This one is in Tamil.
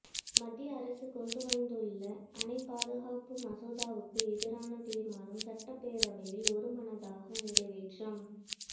மத்திய அரசு கொண்டு வந்துள்ள அணை பாதுகாப்பு மசோதாவுக்கு எதிரான தீர்மானம் சட்டப்பேரவையில் ஒருமனதாக நிறைவேற்றம்